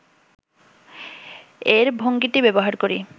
এর ভঙ্গিটি ব্যবহার করি